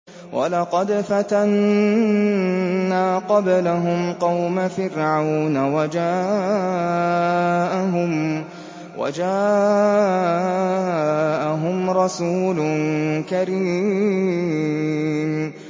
۞ وَلَقَدْ فَتَنَّا قَبْلَهُمْ قَوْمَ فِرْعَوْنَ وَجَاءَهُمْ رَسُولٌ كَرِيمٌ